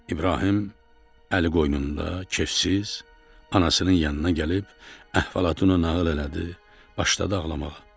İbrahim əli qoynunda kefsiz, anasının yanına gəlib əhvalatını nağıl elədi, başladı ağlamağa.